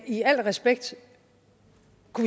i al respekt